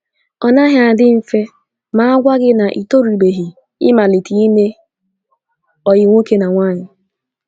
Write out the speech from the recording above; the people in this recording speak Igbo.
Ọ naghị adị mfe ma agwa gị na ị torubeghị ịmalite ime ọyị nwoke na nwaanyị.